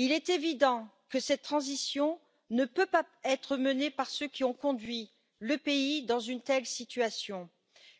À l'évidence, cette transition ne peut pas être menée par ceux qui ont conduit le pays dans une telle situation.